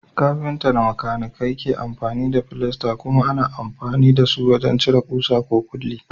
Kafinta da makanikai galibi ke amfani da filasta, kuma ana amfani da su wajen cire kusa ko kulli.